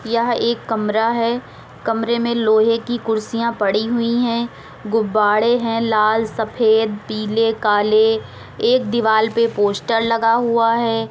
यह एक कमरा है कमरे में लोहे की कुर्सियां पड़ी हुई है। गुब्बाड़े है लाल सफेद पीले काले। एक दिवाल पे पोस्टर लगा हुआ है।